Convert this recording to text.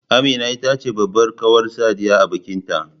Amina ita ce babbar kawar Sadiya a bikin ta